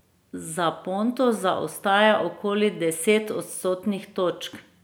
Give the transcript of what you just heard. Za Ponto zaostaja okoli deset odstotnih točk.